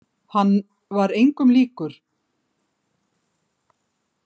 Hann var engum líkur.